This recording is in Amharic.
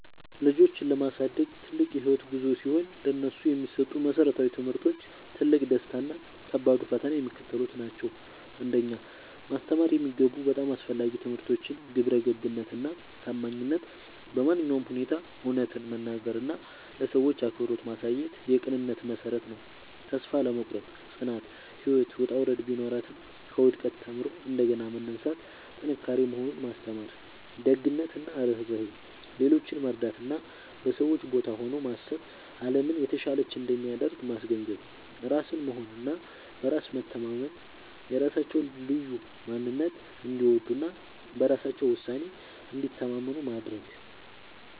ልጆችን ማሳደግ ትልቅ የህይወት ጉዞ ሲሆን፥ ለነሱ የሚሰጡ መሰረታዊ ትምህርቶች፣ ትልቁ ደስታ እና ከባዱ ፈተና የሚከተሉት ናቸው 1. ማስተማር የሚገቡ በጣም አስፈላጊ ትምህርቶች ግብረገብነት እና ታማኝነት በማንኛውም ሁኔታ እውነትን መናገር እና ለሰዎች አክብሮት ማሳየት የቅንነት መሠረት ነው። ተስፋ አለመቁረጥ (ጽናት)፦ ህይወት ውጣ ውረድ ቢኖራትም፣ ከውድቀት ተምሮ እንደገና መነሳት ጥንካሬ መሆኑን ማስተማር። ደግነት እና ርህራሄ፦ ሌሎችን መርዳት እና በሰዎች ቦታ ሆኖ ማሰብ አለምን የተሻለች እንደሚያደርግ ማስገንዘብ። ራስን መሆን እና በራስ መተማመን፦ የራሳቸውን ልዩ ማንነት እንዲወዱ እና በራሳቸው ውሳኔ እንዲተማመኑ ማድረግ።